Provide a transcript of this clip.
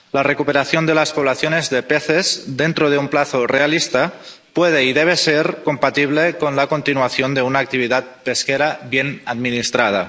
La recuperación de las poblaciones de peces dentro de un plazo realista puede y debe ser compatible con la continuación de una actividad pesquera bien administrada.